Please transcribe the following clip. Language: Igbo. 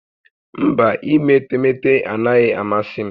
Mba, ime etemeete anaghị amasị m